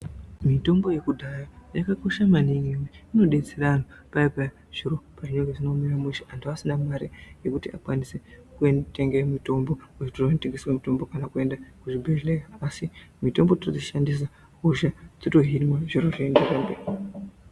Mitombo ye kudhaya yaka kosha maningi ngekuti ino detsera anhu paya paya zviro pazvinenge zvisina kumira mushe antu asina mari yekuti akwanise kutenge mitombo ku zvitoro zvino tengeswe mitombo kana kuenda ku zvibhedhlera asi mitombo totoi shandisa hosha dzoto hinwa zviro zvoenderera mberi.